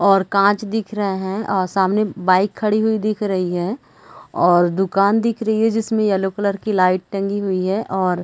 और काँच दिख रहे है अ सामने बाइक खड़ी हुई दिख रही है और दुकान दिख रही है जिसमे येलो कलर की लाइट टगी हुई है और--